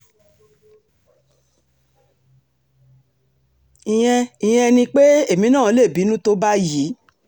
ìyẹn ìyẹn ni pé èmi náà lè bínú tó báyìí